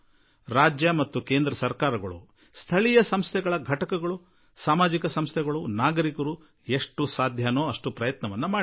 ರಾಜ್ಯ ಸರ್ಕಾರಗಳು ಕೇಂದ್ರ ಸರ್ಕಾರ ಸ್ಥಳೀಯ ಸಂಸ್ಥೆಗಳು ಸಾಮಾಜಿಕ ಸಂಸ್ಥೆಗಳು ನಾಗರಿಕರು ಏನೆಲ್ಲಾ ಮಾಡಬಹುದೋ ಅದನ್ನು ಪೂರ್ಣವಾಗಿ ಮಾಡಲು ಪ್ರಯತ್ನಿಸಿದವು